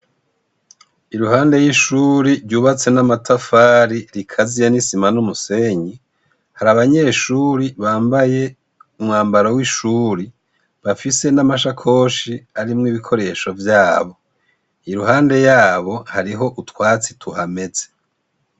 Iruhande y'ishuri ryubatswe n'amatafari rikaziye n'isima n'umusenyi, har'abanyeshuri bamabaye umwamabaro w'ishuri bafise n'amasakoshi arimwo ibikoresho vyabo, iruhande yabo hariho utwatsi tuhameze.